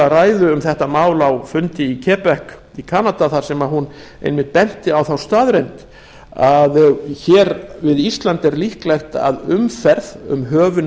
um þetta mál á fundi í quebec í kanada þar sem hún einmitt benti á þá staðreynd að hér við ísland er líklegt að umferð um höfin